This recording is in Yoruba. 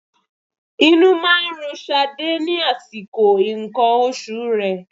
Inú máa ń run Ṣadé ní àsìkò nǹkan oṣù rẹ.